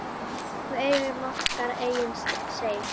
Við eigum okkar eigin Seif.